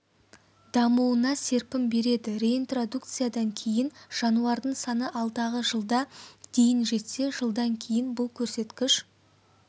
дамуына серпін береді реинтродукциядан кейін жануардың саны алдағы жылда дейін жетсе жылдан кейін бұл көрсеткіш